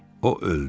O öldü.